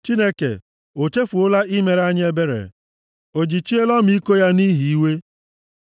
Chineke, o chefuola i mere anyị ebere? O jichiela ọmịiko ya nʼihi iwe?” Sela